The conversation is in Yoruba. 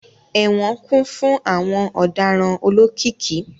Ẹwọn kun fun awọn ọdaràn olokiki